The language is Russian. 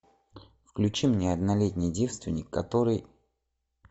включи мне однолетний девственник который